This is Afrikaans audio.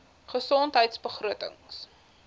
gesondheidbegrotings